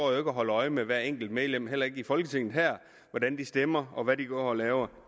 og holder øje med hvert enkelt medlem heller ikke i folketinget hvordan de stemmer og hvad de går og laver